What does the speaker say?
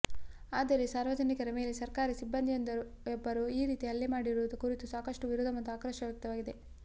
ಆದರೆ ಸಾರ್ವಜನಿಕರ ಮೇಲೆ ಸರ್ಕಾರಿ ಸಿಬ್ಬಂದಿಯೊಬ್ಬರು ಈ ರೀತಿ ಹಲ್ಲೆ ಮಾಡಿರುವ ಕುರಿತು ಸಾಕಷ್ಟು ವಿರೋಧ ಮತ್ತು ಆಕ್ರೋಶ ವ್ಯಕ್ತವಾಗಿದೆ